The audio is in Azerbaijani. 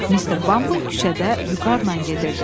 Mr. Bumble küçədə vüqarla gedirdi.